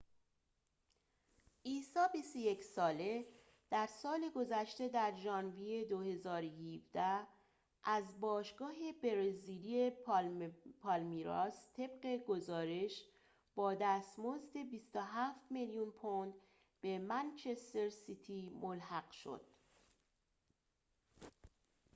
عیسی ۲۱ ساله در سال گذشته در ژانویه ۲۰۱۷ از باشگاه برزیلی پالمیراس طبق گزارش با دستمزد ۲۷ میلیون پوند به منچستر سیتی ملحق شد